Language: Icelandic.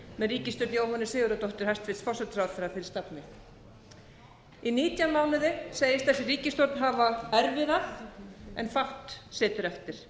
með ríkisstjórn jóhönnu sigurðardóttur hæstvirtur forsætisráðherra fyrir stafni í nítján mánuði segist þessi ríkisstjórn hafa erfiðað en fátt setið eftir